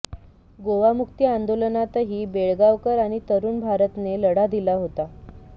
गोवामुक्ती आंदोलनातही बेळगावकर आणि तरुण भारतने लढा दिला होता